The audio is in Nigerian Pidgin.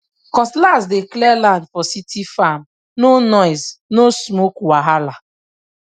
cutlass dey clear land for city farmno noise no smoke wahala